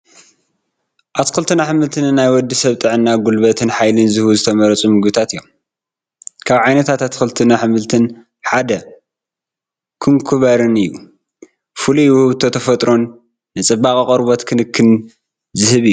ኣትክልትን ኣሕምልትን ንናይ ወዲ ሰብ ጥዕና ፣ ጉልበትን ሓይልን ዝህቡ ዝተመረፁ ምግብታት እዮም፡፡ ካብ ዓይነታት ኣትክልትን ኣሕምልትን ሓደ ኩምኮምበር እዩ፡፡ ፍሉይ ውህብቶ ተፈጥሮን ንፅባቐ ቆርበት ክንክንን ዝህብ እዩ፡፡